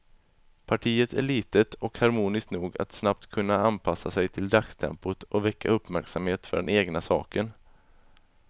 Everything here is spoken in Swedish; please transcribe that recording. Partiet är litet och harmoniskt nog att snabbt kunna anpassa sig till dagstempot och väcka uppmärksamhet för den egna saken.